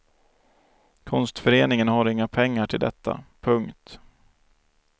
Konstföreningen har inga pengar till detta. punkt